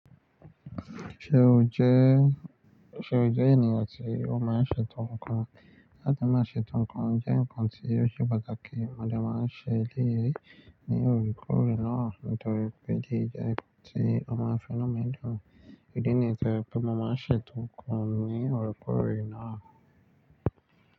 Ṣe o jẹ ènìyàn tí o máa ń ṣètò nǹkan? Láti máa ṣètò nǹkan jẹ́ ǹkan tí ó ṣe pàtàkì. Mo dẹ̀ máa ń ṣe eléyìí ní òòrèkóòrè náà nítorí pé eléyìí jẹ́ nǹkan tí ó máa ń fi inú mi dùn. Ìdí nìyẹn tí ó jẹ́ pé mo máa ń ṣètò nǹkan ní òòrèkóòrè náà.